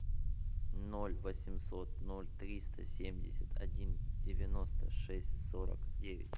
ноль восемьсот ноль триста семьдесят один девяносто шесть сорок девять